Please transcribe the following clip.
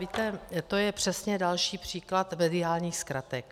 Víte, to je přesně další příklad mediálních zkratek.